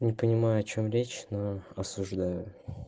не понимаю о чем речь но осуждаю